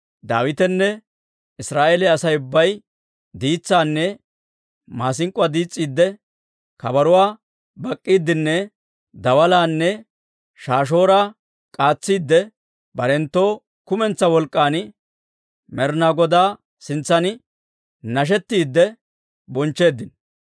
Daawitenne Israa'eeliyaa Asay ubbay diitsaanne maasink'k'uwaa diis's'iidde, kabaruwaa bak'k'iiddenne dawalaanne shaashooraa k'aatsiidde, barenttoo kumentsaa wolk'k'an Med'inaa Godaa sintsan nashetiidde bonchcheeddino.